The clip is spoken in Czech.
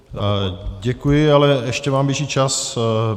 Děkuji, ale ještě vám běží čas.